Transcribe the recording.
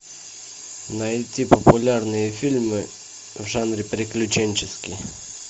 найти популярные фильмы в жанре приключенческий